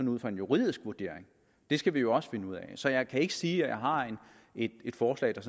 ud fra en juridisk vurdering skal vi jo også finde ud af så jeg kan ikke sige at jeg har et forslag der